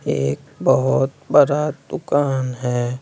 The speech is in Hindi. एक बहुत बरा दुकान है।